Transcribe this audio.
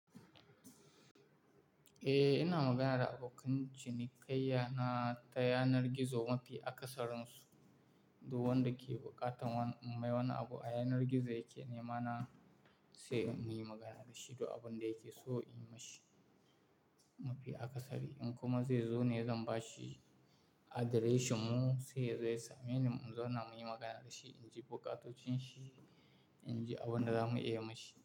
Eh, ina magana da abokan cinikayya na ta yanar gizo mafi akasarin su. Du wanda ke buƙatan mai wani abu a yanar gizo yake, nema na sai in yi magana da shi du abun da yake so in yi mishi mafi akasari. In kuma zai zo ne zan ba shi adireshin mu sai yazo ya sa. Meaning in zauna muyi magana da shi, in ji bukatocin shi, in ji abin da za mu iya yi mashi.